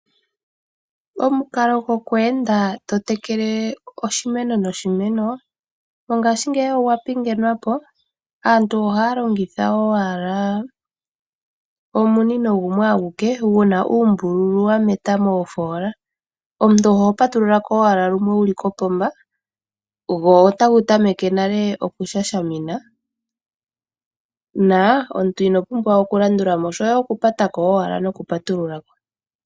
Omukalo gwokweenda totekele oshimeno noshimeno, mongashingeyi owa pingathanwapo. Aantu ohaya longitha owala omunino gumwe, guna oombululu dhameta moofoola. Omuntu oho patululako owala lumwe wuli kopomba, go otagu tameke ihe okushamina, na omuntu inopumbwa okulandulamo, oshoka otoya owala kupatako nokupatululako.